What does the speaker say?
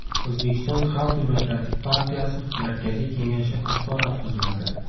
O‘zbekiston Xalq demokratik partiyasi markaziy kengashi axborot xizmati .